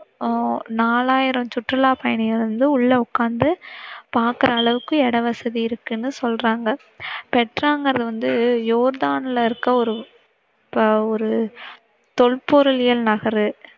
ஆஹ் நாலாயிரம் சுற்றுல்லா பயணிகள் வந்து உள்ள உக்கார்ந்து பாக்கிற அளவுக்கு இடவசதி இருக்குனு சொல்லறாங்க. பெட்ராங்கிறது வந்து யோர்தான்ல இருக்கிற ஒரு, ஒரு தொல்பொருளியல் நகர்.